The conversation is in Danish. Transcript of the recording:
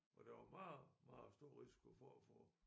Hvor der var meget meget stor risiko for at få